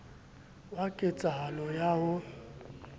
wa ket sahalo ya ho